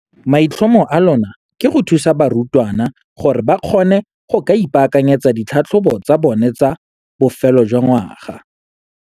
Maitlhomo a lona ke go thusa barutwana gore ba kgone go ka ipaakanyetsa ditlhatlhobo tsa bona tsa bofelo jwa ngwaga.